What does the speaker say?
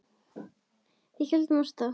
Við héldum af stað.